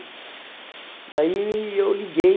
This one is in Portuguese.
E aí eu liguei,